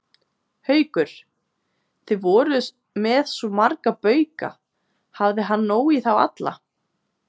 Haukur: Þið voruð með svo marga bauka, hafði hann nóg í þá alla?